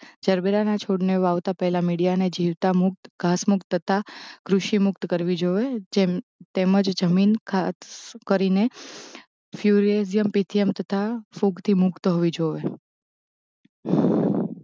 જરબેરાના છોડને વાવતાં પહેલાં મીડીયાને જીવતાં મુકત ઘાસમુક્ત તથા ક્રુષિમુક્ત કરવી જોઇએ જેમ તેમ જ જમીન ખાદ કરીને ફ્યુરેઝિયમ પિથીયમ તથા ફૂગથી મુક્ત હોવી જોઇએ